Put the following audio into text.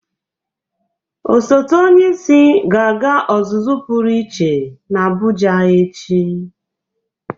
Osote onyeisi ga-aga ọzụzụ pụrụ iche n'Abụja echi.